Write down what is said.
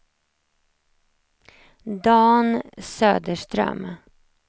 Dan Söderström